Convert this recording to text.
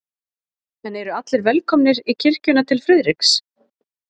En eru allir velkomnir í kirkjuna til Friðriks?